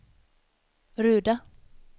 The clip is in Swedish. Ruda